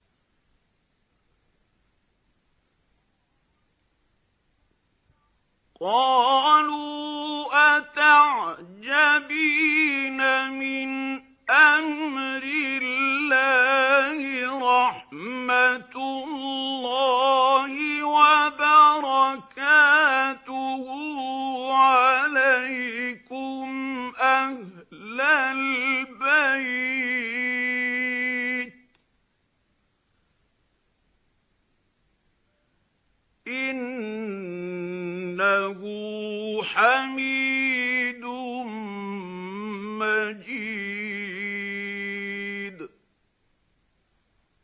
قَالُوا أَتَعْجَبِينَ مِنْ أَمْرِ اللَّهِ ۖ رَحْمَتُ اللَّهِ وَبَرَكَاتُهُ عَلَيْكُمْ أَهْلَ الْبَيْتِ ۚ إِنَّهُ حَمِيدٌ مَّجِيدٌ